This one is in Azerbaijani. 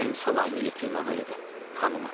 Mənim salamımı yetirin ağaya da, xanıma da.